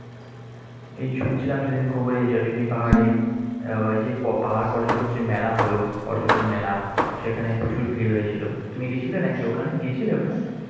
এই শুনছিলাম সেদিন খবরে জয়চন্ডি পাহাড়ে যে পাহাড় পর্যটন যে মেলা হলো পর্যটন মেলা সেখানে প্রচুর ভীর হয়েছিল। তুমি গিয়েছিলে নাকি ওখানে? গিয়েছিলে ওখানে?